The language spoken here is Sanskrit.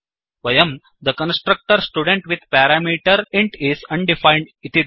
वयं the constructor student with parameter is undefined